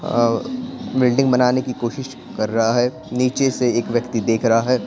और बिल्डिंग बनाने की कोशिश कर रहा है नीचे से एक व्यक्ति देख रहा है।